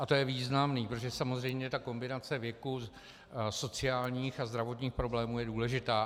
A to je významné, protože samozřejmě ta kombinace věku, sociálních a zdravotních problémů je důležitá.